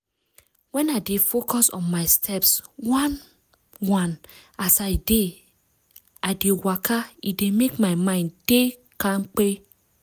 when i dey focus on my steps one-one as i dey i dey waka e dey make my mind dey kampe.